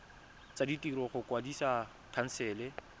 tsa ditiro go kwadisa khansele